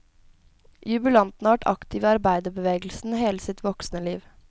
Jubilanten har vært aktiv i arbeiderbevegelsen hele sitt voksne liv.